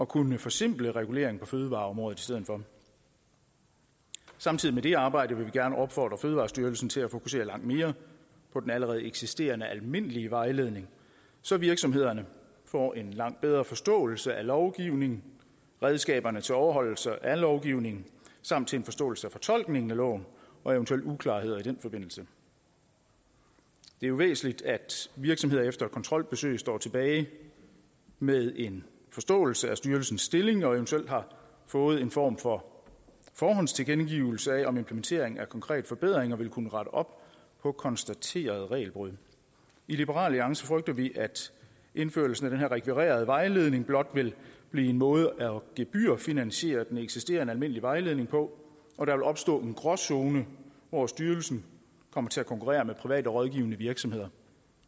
kunne forsimple regulering på fødevareområdet i stedet for samtidig med det arbejde vil vi gerne opfordre fødevarestyrelsen til at fokusere langt mere på den allerede eksisterende almindelige vejledning så virksomhederne får langt bedre forståelse af lovgivning redskaberne til overholdelse af lovgivningen samt til en forståelse af fortolkningen af loven og eventuelle uklarheder i den forbindelse det er jo væsentligt at virksomheder efter et kontrolbesøg står tilbage med en forståelse af styrelsens stilling og eventuelt har fået en form for forhåndstilkendegivelse af om implementering af konkrete forbedringer vil kunne rette op på konstaterede regelbrud i liberal alliance frygter vi at indførelsen af den her rekvirerede vejledning blot vil blive en måde at gebyrfinansiere den eksisterende almindelige vejledning på og der vil opstå en gråzone hvor styrelsen kommer til at konkurrere med private rådgivende virksomheder